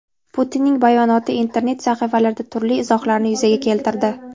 Putinning bayonoti internet sahifalarida turli izohlarni yuzaga keltirdi.